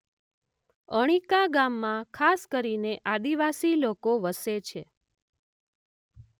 અણીકા ગામમાં ખાસ કરીને આદિવાસી લોકો વસે છે.